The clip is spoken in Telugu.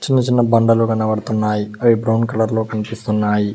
చిన్న చిన్న బండలు కనబడుతున్నాయి అవి బ్రౌన్ కలర్ లో కనిపిస్తున్నాయి.